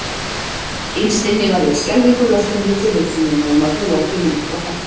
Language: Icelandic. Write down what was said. Innst inni var ég skelfingu lostin við tilhugsunina um að búa ekki lengur hjá pabba.